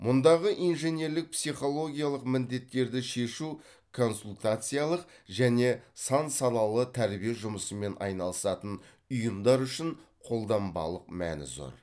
мұндағы инженерлік психологиялық міндеттерді шешу консультациялық және сан салалы тәрбие жұмысымен айналысатын ұйымдар үшін қолданбалық мәні зор